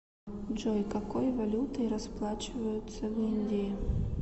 джой какой валютой расплачиваются в индии